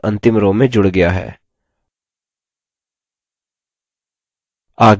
यह अंतिम row में जुड़ गया है